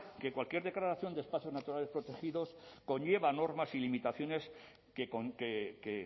que cualquier declaración de espacios naturales protegidos conlleva normas y limitaciones que